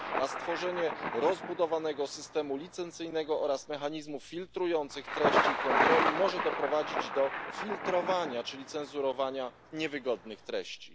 Stworzenie rozbudowanego systemu licencyjnego oraz mechanizmów filtrujących treści i kontroli może natomiast doprowadzić do filtrowania, czyli cenzurowania niewygodnych treści.